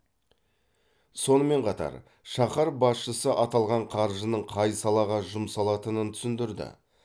сонымен қатар шаһар басшысы аталған қаржының қай салаға жұмсалатынын түсіндірді